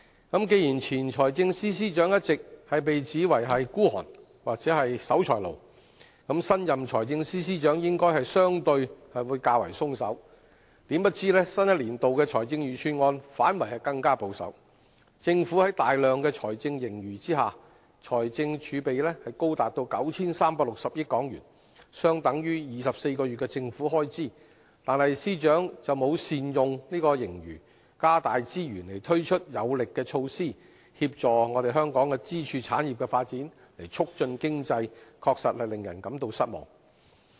既然前財政司司長一直被指為吝嗇或是守財奴，那麼新任財政司司長應該相對會較為寬鬆，豈料新一年度財政預算案反而更保守，政府在大量財政盈餘下，財政儲備高達 9,360 億港元，相等於24個月的政府開支，但司長卻沒有善用盈餘，加大資源推出有力的措施協助香港支柱產業的發展，促進經濟，確實令人感到失望。